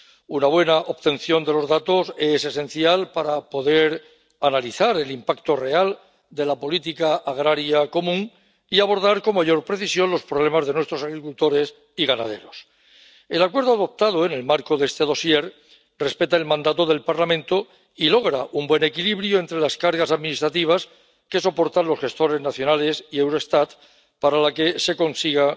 Una buena obtención de los datos es esencial para poder analizar el impacto real de la política agraria común y abordar con mayor precisión los problemas de nuestros agricultores y ganaderos. El acuerdo adoptado en el marco de este dosier respeta el mandato del Parlamento y logra un buen equilibrio entre las cargas administrativas que soportan los gestores nacionales y Eurostat, para la que se consigna